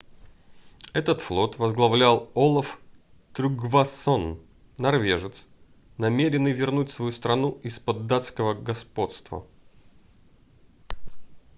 этот флот возглавлял олав трюггвасон норвежец намеренный вернуть свою страну из-под датского господства